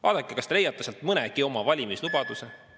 Vaadake, kas te leiate sealt mõnegi oma valimislubaduse.